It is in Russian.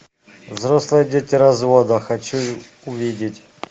взрослые дети развода хочу увидеть